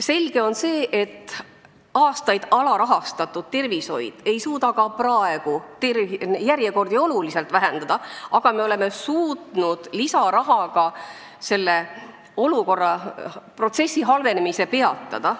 Selge on see, et aastaid alarahastatud tervishoius ei suudeta ka praegu järjekordi oluliselt lühendada, aga me oleme suutnud lisarahaga selle protsessi halvenemise peatada.